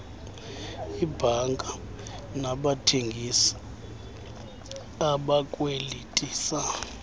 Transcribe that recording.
iibhanka nabathengisi abakwelitisa